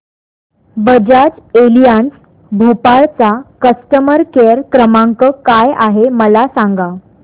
Bajaj Allianz Bhopal चा customer care क्रमांक काय आहे मला सांगा